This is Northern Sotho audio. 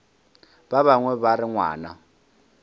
ba bangwe ba re ngwana